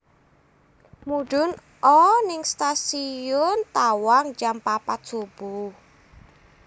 Mudhun o ning Stasiun Tawang jam papat subuh